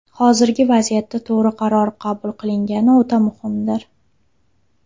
Hozirgi vaziyatda to‘g‘ri qaror qabul qilingani o‘ta muhimdir.